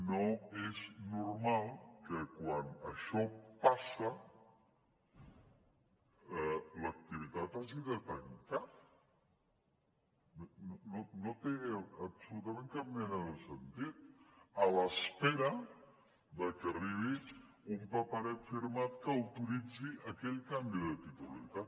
no és normal que quan això passa l’activitat hagi de tancar no té absolutament cap mena de sentit a l’espera de que arribi un paperet firmat que autoritzi aquell canvi de titularitat